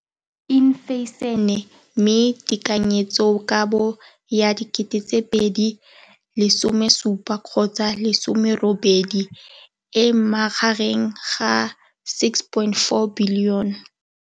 Infleišene, mme tekanyetsokabo ya 2017 gotsa 18 e magareng ga 6.4 bilione.